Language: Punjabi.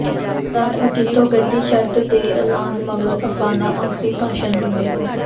ਸਮਰਾਟ ਅਕਿਹੀਤੋ ਗੱਦੀ ਛੱਡ ਦੇ ਐਲਾਨ ਮਗਰੋਂ ਆਫਣਾ ਆਖਿਰੀ ਭਾਸ਼ਣ ਦਿੰਦੇ ਹੋਏ